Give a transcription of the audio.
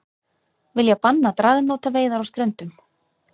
Vilja banna dragnótaveiðar á Ströndum